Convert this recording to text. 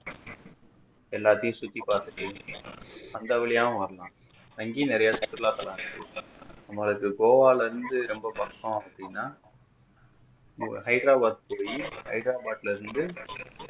எல்லாத்தையும் சுத்தி பாத்துட்டு அந்த வழியாவும் வரலாம் அங்கயும் நிறைய சுற்றுலாத்தளம் இருக்கு நம்ம அதுக்கு கோவால இருந்து ரொம்ப பக்கம் அப்படின்னா ஹைதராபாத் போய் ஹைதராபாத்ல இருந்து